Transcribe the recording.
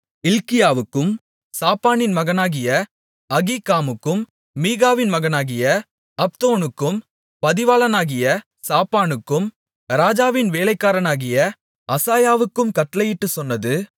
இல்க்கியாவுக்கும் சாப்பானின் மகனாகிய அகீக்காமுக்கும் மீகாவின் மகனாகிய அப்தோனுக்கும் பதிவாளனாகிய சாப்பானுக்கும் ராஜாவின் வேலைக்காரனாகிய அசாயாவுக்கும் கட்டளையிட்டுச் சொன்னது